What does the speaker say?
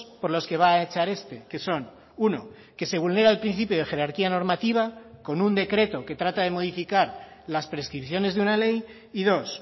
por los que va a echar este que son uno que se vulnera el principio de jerarquía normativa con un decreto que trata de modificar las prescripciones de una ley y dos